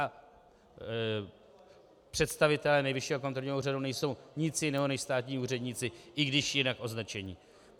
A představitelé Nejvyššího kontrolního úřadu nejsou nic jiného než státní úředníci, i když jinak označení.